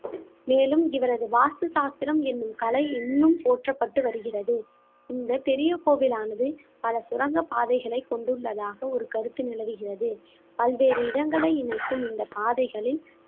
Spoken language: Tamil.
மேலும் இவரது வாஸ்து சாஸ்திரம் எண்ணும் கலை இன்னும் போற்றப்பட்டு வருகிறது இந்த பெரிய கோவிலானது பல சுரங்கப்பாதைகளை கொண்டுள்ளதாக ஒரு கருத்து நிலவுகிறது பல்வேறு இடங்களை இணைக்கும் இந்த பாதைகளில்